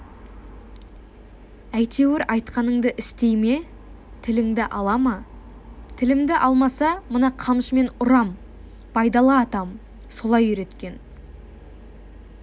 әйтеуір айтқаныңды істей ме тіліңді ала ма тілімді алмаса мына қамшымен ұрам байдалы атам солай үйреткен